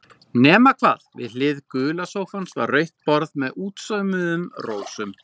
Nema hvað, við hlið gula sófans var rautt borð með útsaumuðum rósum.